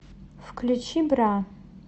включи бра